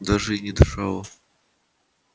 даже и не дышала